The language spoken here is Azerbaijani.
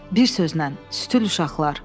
Bir sözlə, sütül uşaqlar.